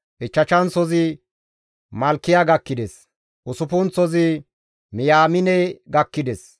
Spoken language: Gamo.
Ichchashanththozi Malkiya gakkides; Usuppunththozi Miyaamine gakkides;